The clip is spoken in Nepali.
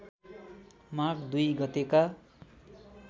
माघ २ गतेका